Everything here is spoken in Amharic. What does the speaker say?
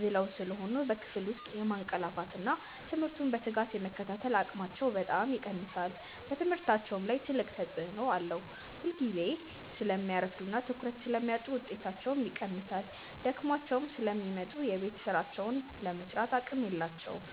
ዝለው ስለሚሆኑ በክፍል ውስጥ የማንቀላፋትና ትምህርቱን በትጋት የመከታተል አቅማቸው በጣም ይቀንሳል። በትምህርታቸውም ላይ ትልቅ ተጽዕኖ አለው፤ ሁልጊዜ ስለሚያረፍዱና ትኩረት ስለሚያጡ ውጤታቸው ይቀንሳል። ደክሟቸው ስለሚመጡ የቤት ሥራቸውን ለመሥራትም አቅም የላቸውም።